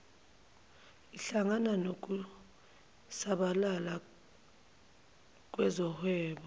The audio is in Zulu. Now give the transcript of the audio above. ihlangana nokusabalala kwezohwebo